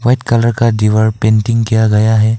सफेद कलर का दीवार पेंटिंग किया गया है।